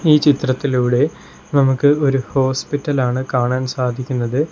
ഈ ചിത്രത്തിലൂടെ നമുക്ക് ഒരു ഹോസ്പിറ്റലാണ് കാണാൻ സാധിക്കുന്നത്.